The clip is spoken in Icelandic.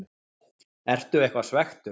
Ertu eitthvað svekktur?